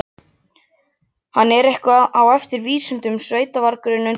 Hann er eitthvað á eftir í vísindunum, sveitavargurinn undir Heklu.